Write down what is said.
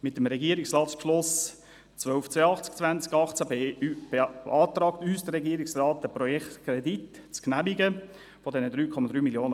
Mit dem Regierungsratsbeschluss 1282/2018 beantragt uns der Regierungsrat, den Projektkredit von 3,3 Mio. Franken zu genehmigen.